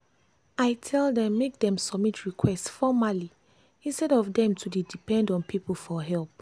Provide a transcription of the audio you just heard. i tell dem make dem submit request formerly instead of dem to dey depend on people for help. for help.